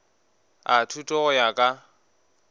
a thuto go ya ka